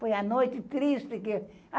Foi a noite triste.